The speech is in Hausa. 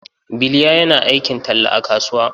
Biliya yana aikin talla a kasuwa.